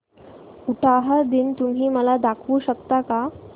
उटाहा दिन तुम्ही मला दाखवू शकता का